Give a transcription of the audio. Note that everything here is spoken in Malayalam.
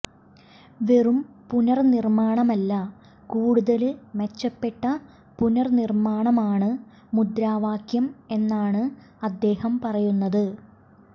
വെറും പുനര്നിര്മ്മാണമല്ല കൂടുതല് മെച്ചപ്പെട്ട പുനര്നിര്മ്മാണമാണ് മുദ്രാവാക്യം എന്നാണ് അദ്ദേഹം പറയുന്നത്